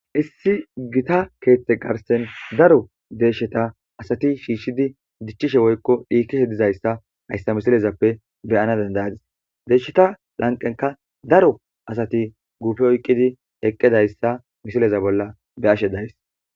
Issi gita keeththe garsen daro deeshsheta asati shiishshidi dichchishe woykko dhiikishe dizayssa hayssa misilezappe beyana dandayadis deeshsheta lanqenka daro asati guufe oyqqidi eqqidayssa misileza bolla be ashe days.